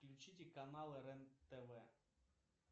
включите каналы рен тв